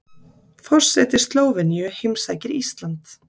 Forseti Slóveníu heimsækir Ísland